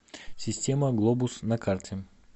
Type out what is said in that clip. система глобус на карте